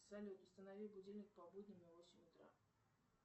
салют установи будильник по будням на восемь утра